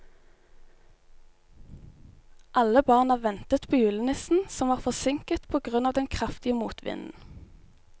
Alle barna ventet på julenissen, som var forsinket på grunn av den kraftige motvinden.